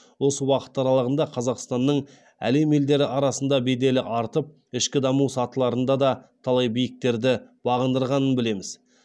осы уақыт аралығында қазақстанның әлем елдері арасында беделі артып ішкі даму сатыларында да талай биіктерді бағындырғанын білеміз